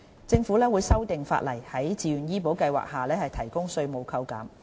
政府會修訂法例，在自願醫保計劃下提供稅務扣減。